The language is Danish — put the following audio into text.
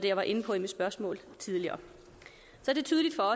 jeg var inde på i mit spørgsmål tidligere